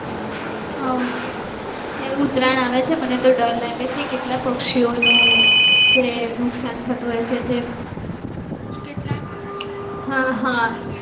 હા ok આ ઉત્તરાયણ આવે છે મને તો ડર લાગે છે કેટલા પક્ષીઓ નુ જે નુકસાન થતુ હોય છે જે ને પણ હા હા